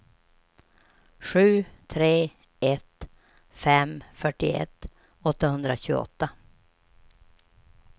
sju tre ett fem fyrtioett åttahundratjugoåtta